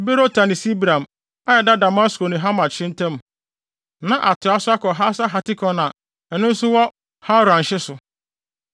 Berota ne Sibraim (a ɛda Damasko ne Hamat hye no ntam), na atoa so akɔ Haser Hatikon a ɛno nso wɔ Hauran hye so.